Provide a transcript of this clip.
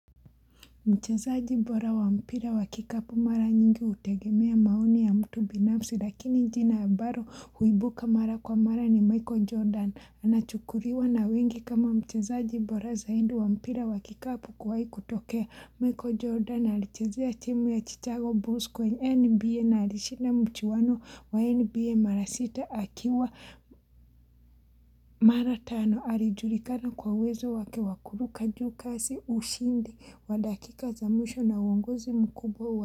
Mchezaji bora wa mpira wa kikapu mara nyingi utegemea maoni ya mtu binafsi lakini njina ambaro huibuka mara kwa mara ni Michael Jordan anachukuriwa na wengi kama mchezaji bora zaindi wa mpira wa kikapu kuwai kutokea. Michael jordan alichezea timu ya chichago bus kwenye nba na alishinda mchuwano wa nba mara sita akiwa mara tano alijulikana kwa uwezo wake wakuruka juu kasi ushindi wadakika za mwisho na uongozi mkubwa wa.